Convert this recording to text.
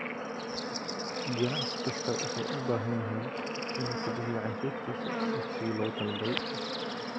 Ganacsi kastaa wuxuu u baahan yahay inuu ku bixiyo cashuurtiisa waqtigii loogu talagalay.